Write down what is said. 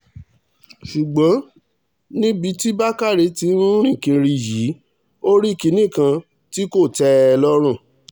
ṣùgbọ́n níbi tí bàkàrẹ́ tí ń rìn kiri yìí ò rí kinní kan tí kò tẹ́ ẹ lọ́rùn